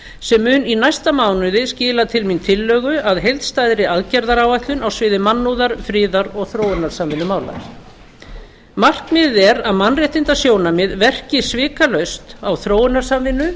sem mun í næsta mánuði skila til mín tillögu að heildstæðri aðgerðaáætlun á sviði mannúðar friðar og þróunarsamvinnumála markmiðið er að mannréttindasjónarmið verki svikalaust á þróunarsamvinnu